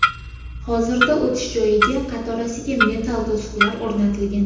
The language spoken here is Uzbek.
Hozirda o‘tish joyida qatorasiga metall to‘siqlar o‘rnatilgan.